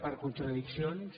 per contradiccions